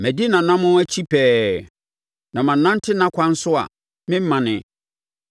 Madi nʼanammɔn akyi pɛɛ; na manante nʼakwan so a mammane.